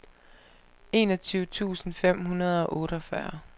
enogtyve tusind fem hundrede og otteogfyrre